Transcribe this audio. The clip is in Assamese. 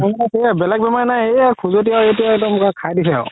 বেলেগ বেমাৰ নাই এইয়া খুজতি খাই দিছে আৰু